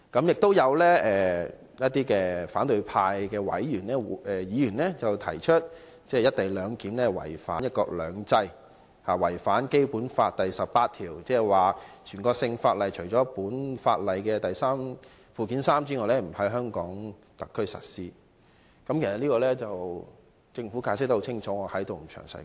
有反對派議員提出，"一地兩檢"違反"一國兩制"，違反《基本法》第十八條，即"全國性法律除列於本法附件三者外，不在香港特別行政區實施"。